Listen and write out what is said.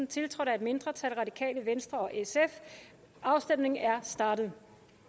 tiltrådt af et mindretal og afstemningen er startet